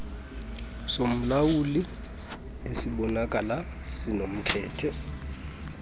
somlawuli esibonakala sinomkhethe